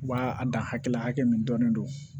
U b'a a dan hakɛ la hakɛ min dɔnnen don